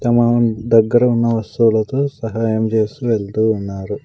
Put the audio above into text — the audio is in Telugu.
తమ దగ్గర ఉన్న వస్తువులతో సహాయం చేస్తూ వెళ్తూ ఉన్నారు.